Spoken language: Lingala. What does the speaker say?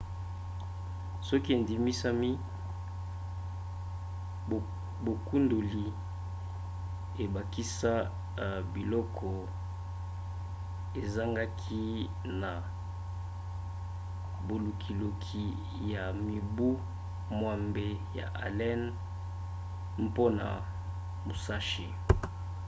soki endimisami bokundoli ebakisa biloko ezangaki na bolukiluki ya mibu mwambe ya allen mpona musashi